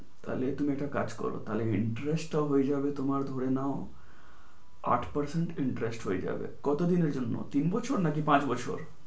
তালে তুমি একটা কাজ করো তাহলে interest টা হয়ে যাবে তোমার ধরে নাও আট percent interest হয়ে যাবে। কতদিন হবে তোমার তিন বছর নাকি পাঁচ বছর?